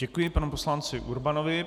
Děkuji panu poslanci Urbanovi.